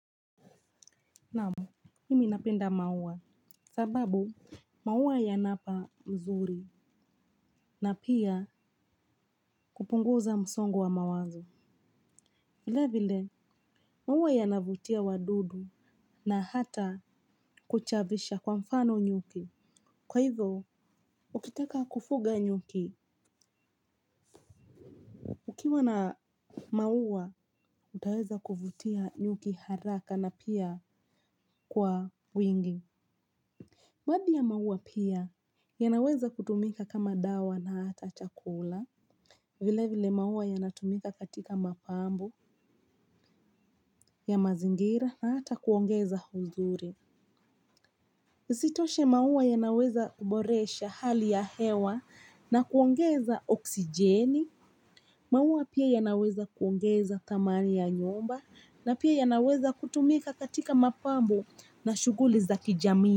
Naam, mimi napenda maua. Sababu, maua yanapa mzuri. Na pia kupunguza msongo wa mawazo. Vile vile, maua yanavutia wadudu na hata kuchavusha kwa mfano nyuki. Kwa hivyo, ukitaka kufuga nyuki, ukiwa na maua, utaweza kuvutia nyuki haraka na pia kwa wingi. Baadhi ya maua pia, yanaweza kutumika kama dawa na hata chakula. Vile vile maua yanatumika katika mapambo ya mazingira na hata kuongeza uzuri. Isitoshe maua yanaweza boresha hali ya hewa na kuongeza oksijeni. Maua pia yanaweza kuongeza thamani ya nyumba na pia yanaweza kutumika katika mapambo na shughuli za kijamii.